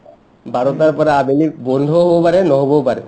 বাৰটাৰ পৰা আবেলি বন্ধও হ'ব পাৰে নহ'বও পাৰে